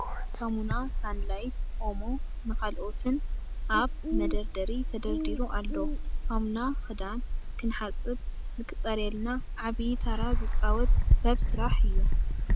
ሳሙና ሳንላይት ፣ኦሞ፣ ን ካልኦትን ኣብ መደርደሪ ተደርዲሩ ኣሎ። ሳሙና ክዳን ክንሓፅብ ንክፀርየልና ዓብይ ታራ ዝፃወት ሰብ ስራሕ እዩ ።